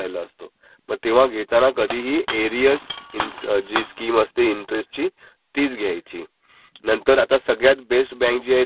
त्याच्यामध्ये pre closing charges वगैरे काही नसतात. बाकीच्या बॅकांमध्ये प्री क्लेझिंग चार्जेस आहेत, मग हिडन कॉस्ट असतात.